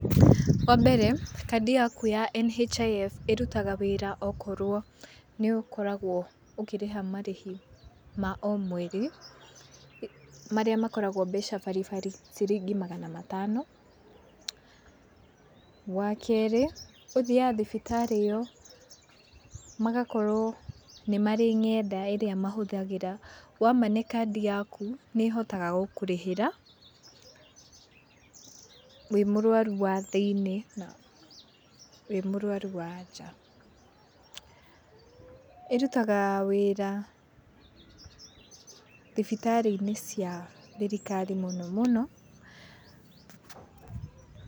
Wa mbere, kandi yaku ya NHIF ĩrutaga wĩra okorwo nĩ ũkoragwo ũkĩ rĩha marĩhi ma omweri, marĩa makoragwo mbeca baribari ciringi magana matano. Wa kerĩ ũthiaga thibitarĩ ĩyo, magakorwo nĩ marĩ ng'enda ĩrĩa mahũthagĩra. Wa mane kandi yaku, nĩ ĩhotaga gũkũrĩhĩra, wĩ mũrwaru wa thĩinĩ, na wĩ mũrwaru wa nja. ĩrutaga wĩra thibitarĩ-inĩ cia thirikari mũno mũno.